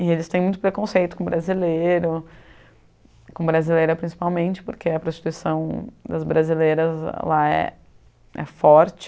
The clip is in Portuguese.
E eles têm muito preconceito com brasileiro, com brasileira principalmente, porque a prostituição das brasileiras lá é é forte.